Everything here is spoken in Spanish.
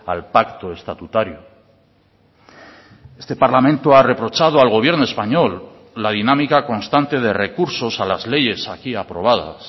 al pacto estatutario este parlamento ha reprochado al gobierno español la dinámica constante de recursos a las leyes aquí aprobadas